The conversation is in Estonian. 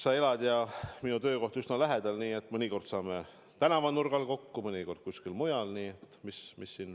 Sa elad kohas, kus minu töökoht on üsna lähedal, nii et mõnikord saame tänavanurgal kokku, mõnikord kuskil mujal.